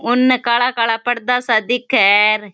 इने काला काला पर्दा सा दिखे है।